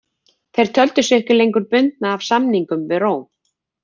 Þeir töldu sig ekki lengur bundna af samningum við Róm.